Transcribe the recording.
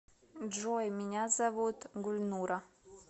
джой меня зовут гульнура